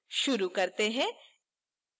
शुरू करते हैं